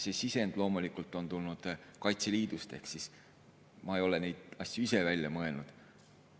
See sisend on loomulikult tulnud Kaitseliidust ehk ma ei ole neid asju ise välja mõelnud.